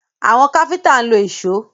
Àwọn káfíńtà ń lo ìṣó.